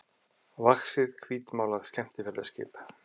vaxið hvítmálað skemmtiferðaskip.